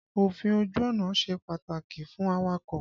Òfin ojú ọ̀nà ṣe pàtàkì fún awakọ̀.